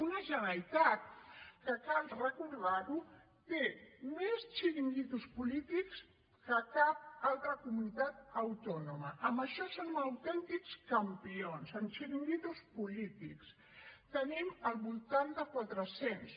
una generalitat que cal recordar ho té més xiringuitos polítics que cap altra comunitat autònoma en això són autèntics campions en xiringuitos polítics en tenim al voltant de quatre cents